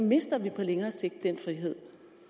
mister vi på længere sigt den frihed